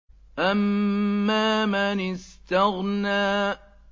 أَمَّا مَنِ اسْتَغْنَىٰ